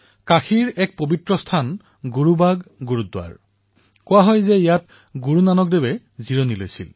কাশীৰ এক পবিত্ৰ স্থল গুৰুবাগ গুৰুদ্বাৰা কোৱা হয় যে শ্ৰী গুৰুনানকে তাত বিশ্ৰাম কৰিছিল